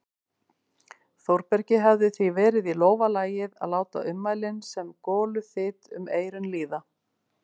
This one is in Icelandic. Þórbergi hefði því verið í lófa lagið að láta ummælin sem goluþyt um eyrun líða.